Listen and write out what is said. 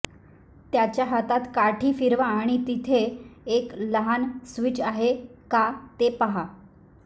त्याच्या हातात काठी फिरवा आणि तेथे एक लहान स्विच आहे का ते पहा